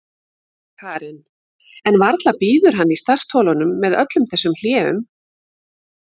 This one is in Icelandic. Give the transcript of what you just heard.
Karen: En varla bíður hann í startholunum með öllum þessum hléum?